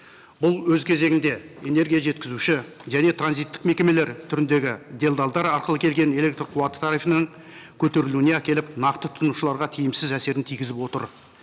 бұл өз кезегінде энергия жеткізуші және транзиттік мекемелер түріндегі делдалдар арқылы келген электрқуаты тарифының көтерілуіне әкеліп нақты тұтынушыларға тиімсіз әсерін тигізіп отыр